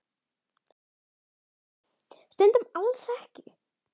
Stundum alls ekki.